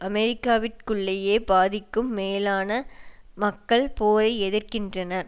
அமெரிக்காவிற்குள்ளேயே பாதிக்கும் மேலான மக்கள் போரை எதிர்க்கின்றன